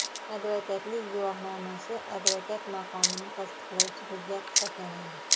advokatlik guvohnomasi advokat maqomini tasdiqlovchi hujjat hisoblanadi.